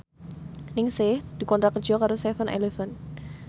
Ningsih dikontrak kerja karo seven eleven